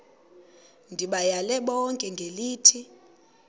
ndibayale bonke ngelithi